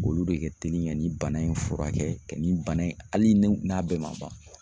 Olu de ka teli ka nin bana in furakɛ ka nin bana in hali ni n'a bɛɛ ma ban